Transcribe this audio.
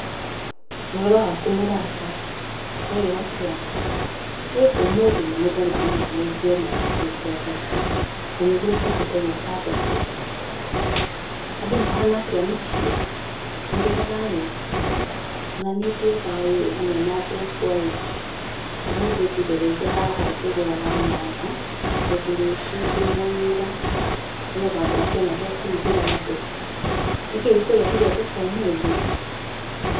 Ũhoro waku mũrata? Kwerwo atĩa? Hĩ ũmũthĩ nĩ mũthenya mũnene ũngĩ ona ũkĩte thoko! Nanĩguo ũtendete gũka thoko. Andũ mahana atĩa mũciĩ? Mũrĩ o thayũ? O naniĩ ndĩ o thayũ ĩĩ hamwe na andũ akwa ĩĩ, ũmũthĩ ngũgereire haha ngĩgũraga nyanya tondũ rũciũ ndĩna wĩra, nĩgetha ngakĩona gĩa kũrugĩra andũ. Nĩkĩ gĩkũrehire thoko ũmũthĩ?